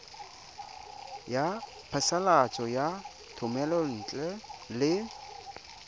ya phasalatso ya thomelontle le